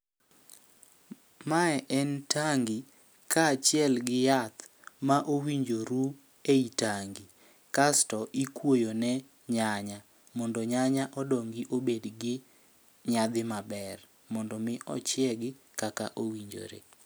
Mae en tangi, kaachiel gi yath ma owinjo ru ei tangi. Kasto ikwoyo ne nyanya, mondo nyanya odongi obed gi nyadhi maber. Mondo mi ochiegi kaka owinjore.